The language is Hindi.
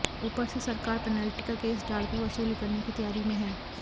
ऊपर से सरकार पेनाल्टी का केस डाल कर वसूली करने की तैयारी में है